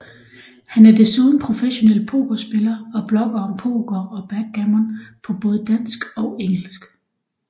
Han er desuden professionel pokerspiller og blogger om poker og backgammon på både dansk og engelsk